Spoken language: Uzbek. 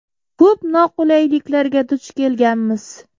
Ko‘p noqulayliklarga duch kelganmiz.